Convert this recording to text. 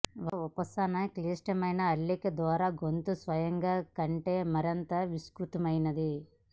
ఒక ఉపశమన క్లిష్టమైన అల్లిక ద్వారా గొంతు స్వయంగా కంటే మరింత విస్తృతమైనది